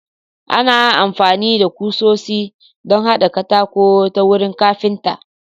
Ana amfani da kusoshi don haɗa katako ta wurin kafinta.